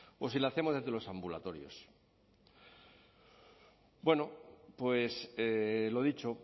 o si la hacemos desde los ambulatorios bueno pues lo dicho